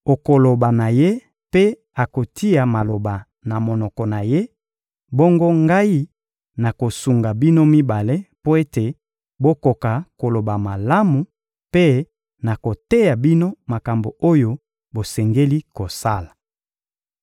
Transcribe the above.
Okoloba na ye mpe okotia maloba na monoko na ye, bongo Ngai nakosunga bino mibale mpo ete bokoka koloba malamu, mpe nakoteya bino makambo oyo bosengeli kosala.